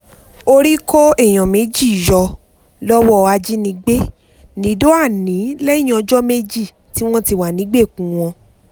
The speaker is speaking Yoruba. orí kó èèyàn méjì yọ lọ́wọ́ ajínigbé nìdọ́àní lẹ́yìn ọjọ́ méjì tí wọ́n ti wà nígbèkùn wọn